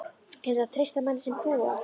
Er hægt að treysta manni sem púar?